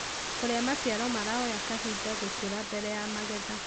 kũrĩa maciaro maroya kahinda gũkũra mbere ya magetha.